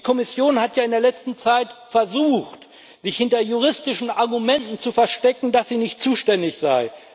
Die Kommission hat ja in der letzten Zeit versucht, sich hinter juristischen Argumenten zu verstecken, dass sie nicht zuständig sei.